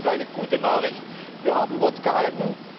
Insofern ist das eine gute Nachricht. Wir haben Wort gehalten.